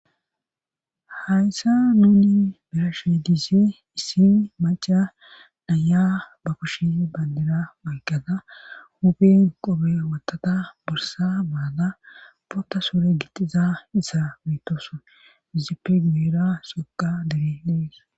hayssa nuni be'ashe diza issin maca dhaya ba kushi bandira mayqqada huphin qobe wotata borsa baada pota sore gixiza issa mitoson dizipimeera soqa diri dees